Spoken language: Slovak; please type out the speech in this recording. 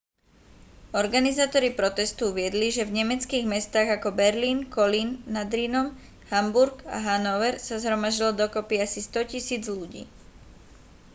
organizátori protestu uviedli že v nemeckých mestách ako berlín kolín nad rýnom hamburg a hanover sa zhromaždilo dokopy asi 100 000 ľudí